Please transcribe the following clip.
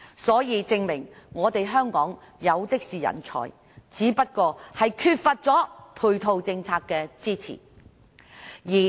這證明香港有的是人才，只是缺乏配套政策的支持。